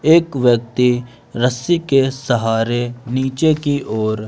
एक व्यक्ति रस्सी के सहारे नीचे की ओर--